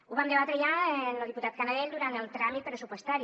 ho vam debatre ja amb lo diputat canadell durant el tràmit pressupostari